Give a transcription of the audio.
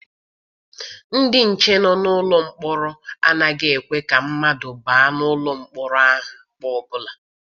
Ndị nche nọ n'ụlọ mkpọrọ anaghị ekwe ka mmadụ baa n'ụlọ mkpọrọ ahụ mgbe ọbụla.